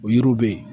O yiriw bɛ yen